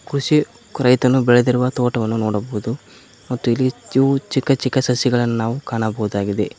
ಕೃಷಿ ರೈತನು ಬೆಳೆದಿರುವ ತೋಟವನ್ನು ನೋಡಬಹುದು ಮತ್ತು ಇಲ್ಲಿ ದ್ಯು ಚಿಕ್ಕ ಚಿಕ್ಕ ಸಸಿಗಳನ್ನು ಕಾಣಬಹುದಾಗಿದೆ.